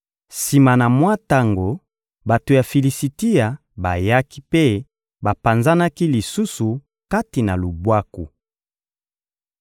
Sima na mwa tango, bato ya Filisitia bayaki mpe bapanzanaki lisusu kati na lubwaku.